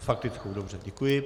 S faktickou, dobře, děkuji.